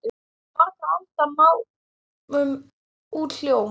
Margra alda máum út hljóm?